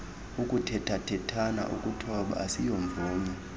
ukuthethathethana ukuthoba asiyomvume